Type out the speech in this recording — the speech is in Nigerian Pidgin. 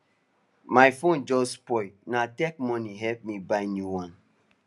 my phone just spoil na tech money help me buy new one